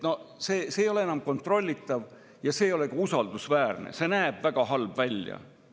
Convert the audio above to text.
See ei ole enam kontrollitav ja see ei ole ka usaldusväärne, see näeb väga halb välja.